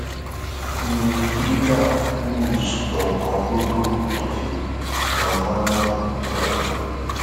omi ni frida uz lọọ pọn lọdọ tó fi gan mọnà ńìlọrin